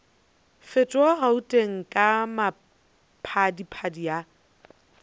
fetoga gauteng ka maphadiphadi a